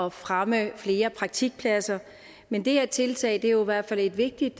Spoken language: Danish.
at fremme flere praktikpladser men det her tiltag er jo i hvert fald et vigtigt